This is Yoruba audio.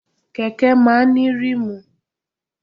Kẹ̀kẹ́ máa ń ní ríìmù.